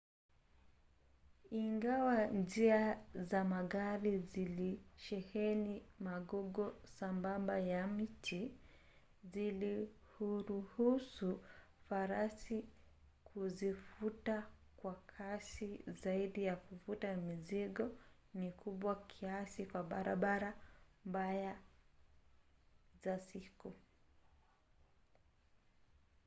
ingawa njia za magari zilisheheni magogo sambamba ya miti zilihuruhusu farasi kuzivuta kwa kasi zaidi na kuvuta mizigo mikubwa kiasi kwa barabara mbaya za siku